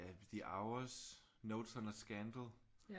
The Hours Notes on a Scandal